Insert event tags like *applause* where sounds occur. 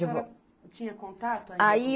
*unintelligible* tinha contato ainda? Aí